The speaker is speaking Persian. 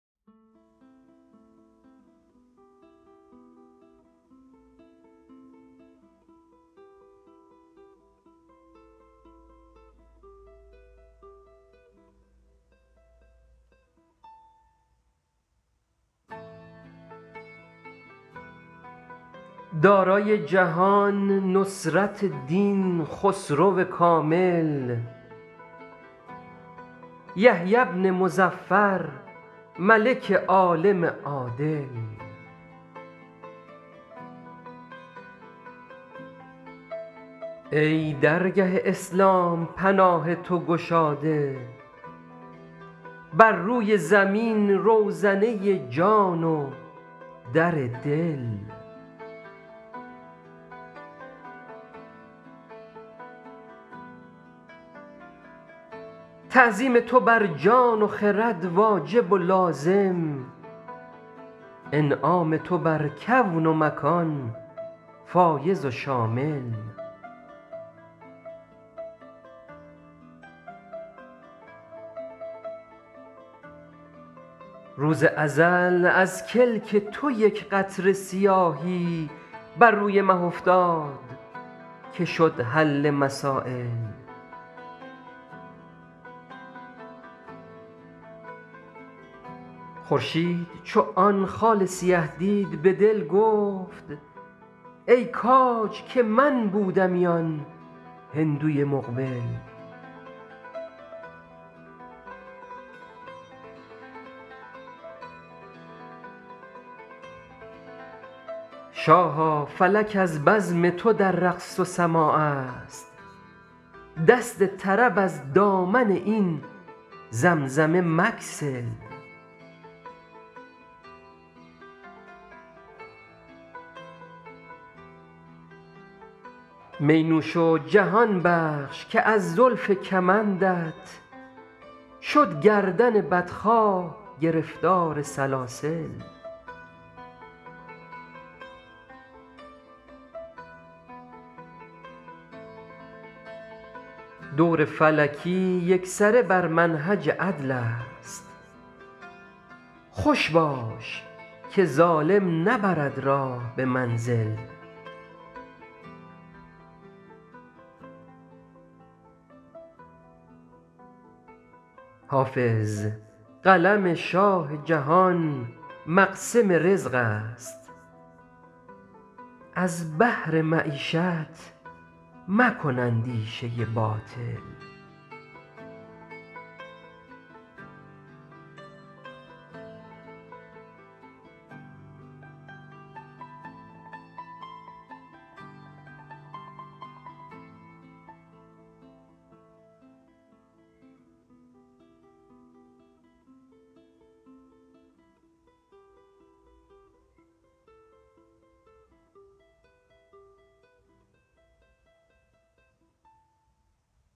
دارای جهان نصرت دین خسرو کامل یحیی بن مظفر ملک عالم عادل ای درگه اسلام پناه تو گشاده بر روی زمین روزنه جان و در دل تعظیم تو بر جان و خرد واجب و لازم انعام تو بر کون و مکان فایض و شامل روز ازل از کلک تو یک قطره سیاهی بر روی مه افتاد که شد حل مسایل خورشید چو آن خال سیه دید به دل گفت ای کاج که من بودمی آن هندوی مقبل شاها فلک از بزم تو در رقص و سماع است دست طرب از دامن این زمزمه مگسل می نوش و جهان بخش که از زلف کمندت شد گردن بدخواه گرفتار سلاسل دور فلکی یکسره بر منهج عدل است خوش باش که ظالم نبرد راه به منزل حافظ قلم شاه جهان مقسم رزق است از بهر معیشت مکن اندیشه باطل